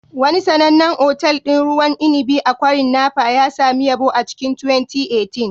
Wani sanannen otal ɗin ruwan inibi a kwarin Napa ya sami yabo a cikin 2018